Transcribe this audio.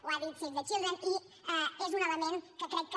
ho ha dit save the children i és un element que crec que